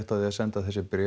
á því að senda þessi bréf